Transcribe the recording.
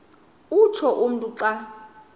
utsho umntu xa